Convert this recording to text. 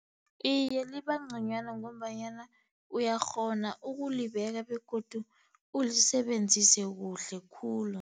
Iye, libanconywana ngombanyana uyakghona ukulibeka, begodu ulisebenzise kuhle khulu.